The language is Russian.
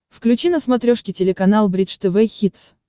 включи на смотрешке телеканал бридж тв хитс